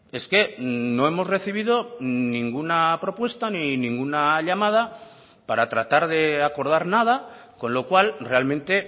es que no hemos recibido ninguna propuesta ni ninguna llamada para tratar de acordar nada con lo cual realmente